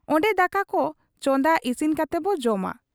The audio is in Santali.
ᱚᱱᱰᱮ ᱫᱟᱠᱟᱠᱚ ᱪᱟᱸᱫᱟ ᱤᱥᱤᱱ ᱠᱟᱛᱮᱵᱚ ᱡᱚᱢᱟ ᱾